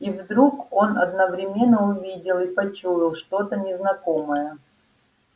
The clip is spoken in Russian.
и вдруг он одновременно увидел и почуял что-то незнакомое